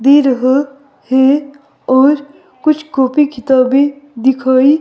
दे रहा है और कुछ कॉपी किताबें दिखाए --